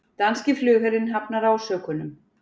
Danski flugherinn hafnar ásökunum